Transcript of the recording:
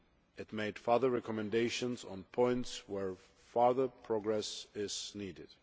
It made other recommendations on points where further progress is needed.